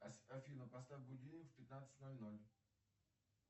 афина поставь будильник в пятнадцать ноль ноль